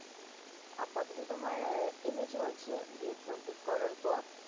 আপাতত তোমার MA চলছে, B ed complete করার পর